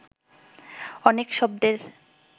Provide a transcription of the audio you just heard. অনেক শব্দের